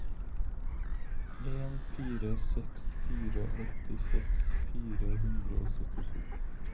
en fire seks fire åttiseks fire hundre og syttito